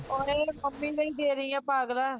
ਓਏ ਮੰਮੀ ਦਾ ਈ ਦੇ ਰਹੀ ਆ ਪਾਗਲਾਂ